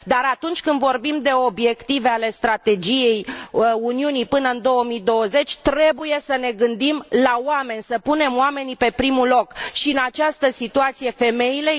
Dar atunci când vorbim de obiective ale strategiei Uniunii până în 2020 trebuie să ne gândim la oameni, să punem oamenii pe primul loc, și în acest context femeile.